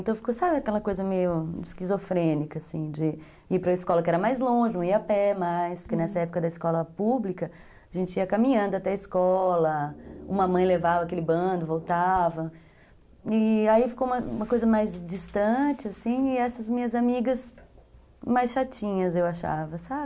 Então ficou, sabe aquela coisa meio esquizofrênica, assim, de ir para escola que era mais longe, não ia a pé mais, uhum, porque nessa época da escola pública, a gente ia caminhando até a escola, uma mãe levava aquele bando, voltava, e aí ficou uma coisa mais distante, assim, e essas minhas amigas mais chatinhas, eu achava, sabe?